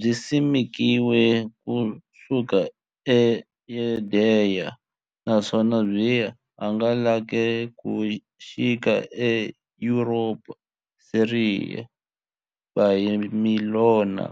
Byisimekiwe ku suka e Yudeya, naswona byi hangalake ku xika e Yuropa, Siriya, Bhabhilona,